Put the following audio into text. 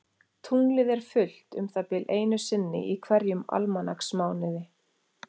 Tunglið er fullt um það bil einu sinni í hverjum almanaksmánuði.